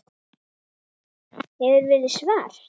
Hefur verið svart.